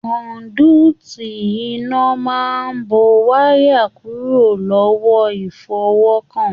Kọ́nduuti iná máa n bó wayà kúrò lọwọ ifọwọkan.